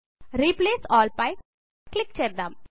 replace all పై click చేద్దాం